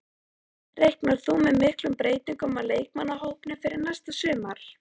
Reiknar þú með miklum breytingum á leikmannahópnum fyrir næsta sumar?